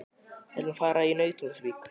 Við ætlum að fara í Nauthólsvík.